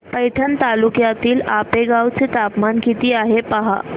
पैठण तालुक्यातील आपेगाव चं तापमान किती आहे पहा